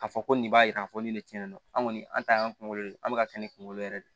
K'a fɔ ko nin b'a jira k'a fɔ ni tiɲɛ de don an kɔni an ta y'an kunkolo de ye an bɛ ka kɛ ni kunkolo yɛrɛ de ye